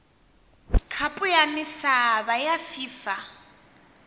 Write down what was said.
khapu ya misava ya fifa